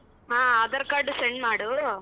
ಹಾ aadhar card send ಮಾಡು.